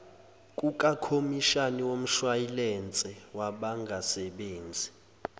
kukakhomishani womshwayilense wabangasebenzi